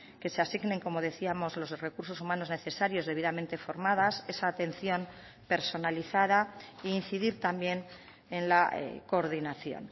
que se asignen como decíamos los recursos humanos necesarios debidamente formadas esa atención personalizada e incidir también en la coordinación